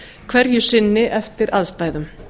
hverju sinni eftir aðstæðum